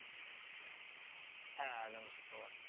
হ্যাঁ আগামী শুক্রবার।